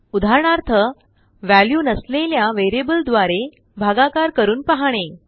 उदाहरणार्थ व्ह्याल्यू नसलेल्या वेरियबल द्वारे भागाकार करुपहाणे